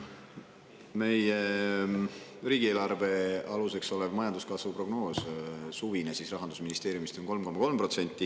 Meie riigieelarve aluseks olev majanduskasvu prognoos, Rahandusministeeriumi suvine prognoos, on 3,3%.